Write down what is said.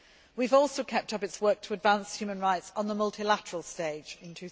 We have also kept up its work to advance human rights on the multilateral stage in